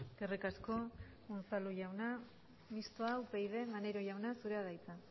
eskerrik asko unzalu jauna mistoa upyd maneiro jauna zurea da hitza